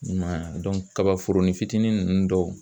I m'a ye a kabaforonin fitinin ninnu dɔw